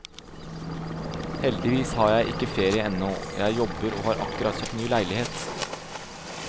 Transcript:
Heldigvis har jeg ikke ferie ennå, jeg jobber og har akkurat kjøpt ny leilighet.